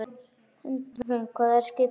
Hrund: Hvað er skipið langt?